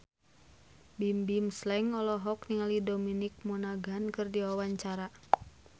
Bimbim Slank olohok ningali Dominic Monaghan keur diwawancara